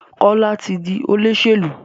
Kola tí dì Olóṣèlú.